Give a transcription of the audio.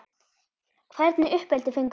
Hvernig uppeldi fenguð þið?